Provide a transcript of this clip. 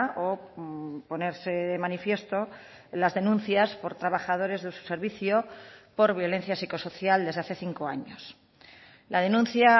o ponerse de manifiesto las denuncias por trabajadores de su servicio por violencia psicosocial desde hace cinco años la denuncia